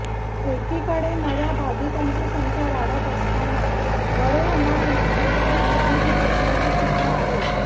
एकीकडे नव्या बाधितांची संख्या वाढत असताना बरे होणाऱ्यांची संख्याही कमी होत असल्याचे चित्र आहे